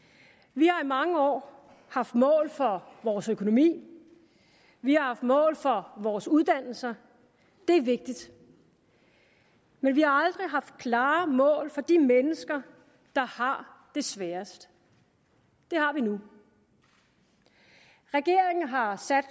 vi har i mange år haft mål for vores økonomi vi har haft mål for vores uddannelser det er vigtigt men vi har aldrig haft klare mål for de mennesker der har det sværest det har vi nu regeringen har sat